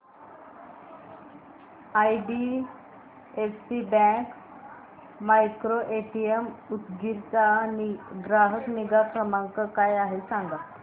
IDFC bank micro ATM Udgir चा ग्राहक निगा क्रमांक काय आहे सांगा